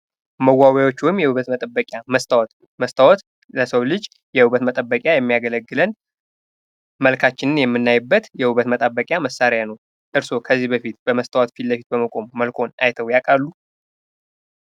መዋቢያዎች ወይም የውበት መጠበቂያ መስታወት መስታወት ለሰው ልጅ ለውበት መጠበቂያ የሚያገለግለን መልካችንን የምናይበት የውበት መጠበቂያ መሳሪያ ነው። እርስዎ ከዚህ በፊት በመስታወት ፊት ለፊት በመቆም መልክዎን ታይተው ያውቃሉ?